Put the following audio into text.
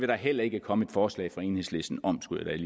der heller ikke komme et forslag fra enhedslisten om skulle